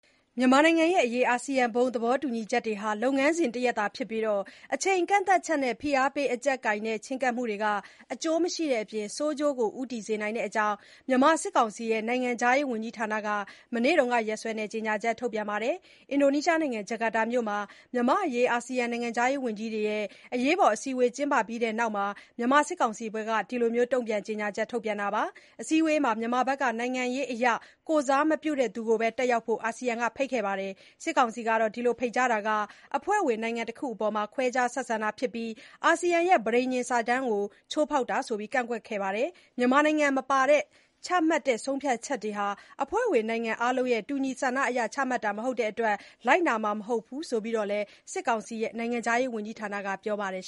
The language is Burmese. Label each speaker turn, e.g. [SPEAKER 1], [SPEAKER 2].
[SPEAKER 1] မြန်မာနိုင်ငံအရေး အာဆီယံ ဘုံသေဘောတူညီချက်တွေဟာ လုပ်ငန်းစဉ်တရပ် သာဖြစ်ပြီး အချိန်ကန့်သတ်ချက်နဲ့ ဖိအားပေးအကျပ်ကိုင်တဲ့ ချဉ်းကပ်မှုတွေဟာ အကျိုးမရှိတဲ့အပြင် ဆိုးကျိုးဆီ ဦးတည်စေနိုင်ကြောင်း မြန်မာစစ်ကောင်စီ နိုင်ငံခြားရေးဝန်ကြီးဌာနက မနေ့ကရက်စွဲနဲ့ ကြေညာချက် ထုတ်ပြန်ပါတယ်။ အင်ဒိုနီးရှားနိုင်ငံ ဂျကာတာမြို့မှာ မြန့်မာ့အရေး အာဆီယံ နိုင်ငံခြားရေးဝန်ကြီးတွေ မနေ့က အရေးပေါ်အစည်းအဝေးကျင်းပခဲ့ပြီးတဲ့နောက် မြန်မာစစ်ကောင်စီဘက် က တုံ့ပြန်ကြေညာချက်ထုတ်ပြန်တာပါ။ အစည်းအဝေးမှာ မြန်မာနိုင်ငံဘက်က နိုင်ငံရေးအရ ကိုယ်စားမပြုတဲ့သူကိုပဲ တက်ရောက်ဖို့ အာဆီယံဘက်က ဖိတ်ကြားခဲ့ပါတယ်။ စစ်ကောင်စီဘက်ကတော့ ဒီလို ဖိတ်ကြားတာဟာ အဖွဲ့ဝင်နိုင်ငံတခုအပေါ် ခွဲခြားဆက်ဆံတာဖြစ်ပြီး အာဆီယံပဋိညာဉ်စာတမ်းကို ချိုးဖောက်တာလို့ ကန့်ကွက်ခဲ့ပါတယ်။ မြန်မာနိုင်ငံမပါဝင်ဘဲ ချမှတ်တဲ့ဆုံးဖြတ်ချက်တွေဟာ အဖွဲ့ဝင်နိုင်ငံအားလုံးရဲ့ တူညီဆန္ဒအရ ချမှတ်တာမဟုတ်တဲ့အတွက် လိုက်နာမှာမဟုတ်ဘူးဆိုပြီးတော့လည်း စစ်ကောင်စီ နိုင်ငံခြားရေး ဝန်ကြီးဌာနက
[SPEAKER 2] ပြောဆိုပါတယ်